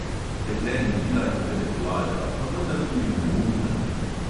Dekle ni bila intelektualka, pa vendar tudi neumna ne.